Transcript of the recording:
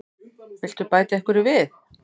Viltu bæta einhverju við?